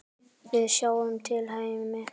Við sjáum til, Hemmi.